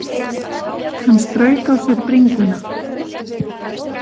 Hann strauk á sér bringuna.